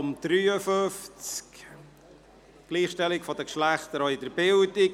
Es geht um die Gleichstellung der Geschlechter, auch in der Bildung.